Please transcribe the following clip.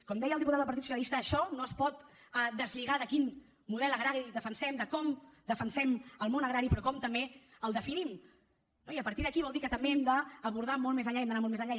com deia el diputat del partit socialista això no es pot deslligar de quin model agrari defensem de com defensem el món agrari però com també el definim no i a partir d’aquí vol dir que també hem d’abordar molt més enllà i hem d’anar molt més enllà